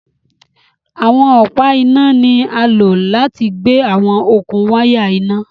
Awọn ọpa ina ni a lo lati gbe awọn okun waya ina